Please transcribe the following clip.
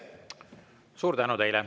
Suur tänu!